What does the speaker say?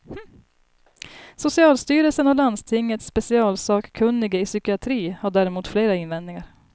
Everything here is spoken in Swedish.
Socialstyrelsen och landstingets specialsakkunnige i psykiatri har däremot flera invändningar.